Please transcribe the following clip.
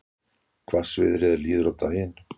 Hvassviðri er líður á daginn